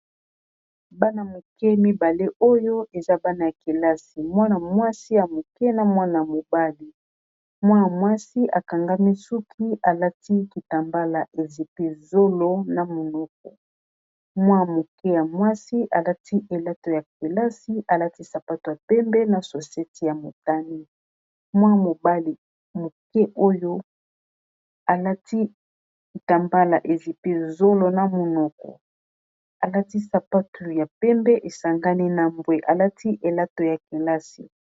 Bana-moke mibale oyo eza bana ya kelasi .mwana mwasi ya moke na mwana mobali .mwa mwasi akangami suki alati kitambala ezipi zolo na monoko mwa moke ya mwasi alati elato ya kelasi alati sapato ya pembe na soseti ya motani .Mwa moboli ya moke oyo alati kitambala ezipi zolo na monoko alati sapatu ya pembe esangani na mbwe alati elato ya kelasi.